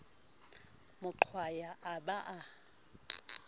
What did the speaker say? mo qwaya a ba a